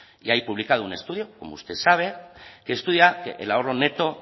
y hay publicado un estudio como usted sabe que estudia que el ahorro neto